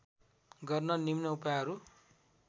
गर्न निम्न उपायहरू